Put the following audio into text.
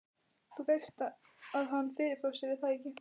Þú veist að hann. fyrirfór sér, er það ekki?